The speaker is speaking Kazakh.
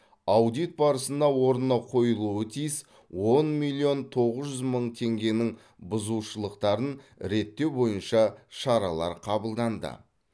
аудит барысында орнына қойылуы тиіс он миллион тоғыз жүз мың теңгенің бұзушылықтарын реттеу бойынша шаралар қабылданды